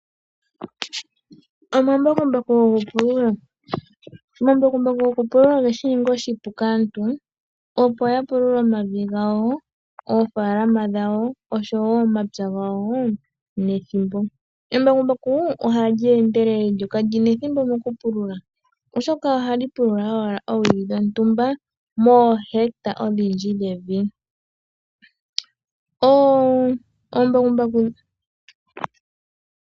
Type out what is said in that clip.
Omambakumbaku gokupulula Omambakumbaku gokupulula oge shi ninga oshipu kaantu opo ya pulule omavi gawo koofaalama dhawo osho wo momapya gawo nethimbo. Embakumbaku ohali endelele lyo kalyi na ethimbo mokupulula oshoka ohali pulula owala oowili dhontumba moohecta odhindji dhevi.